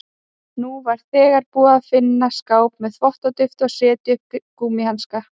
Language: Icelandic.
Hún var þegar búin að finna skáp með þvottadufti og setja upp gúmmíhanska.